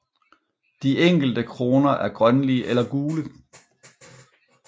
De enkelte kroner er grønlige eller gule